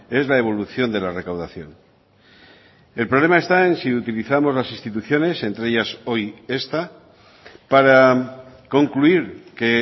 es la evolución de la recaudación el problema está en si utilizamos las instituciones entre ellas hoy esta para concluir que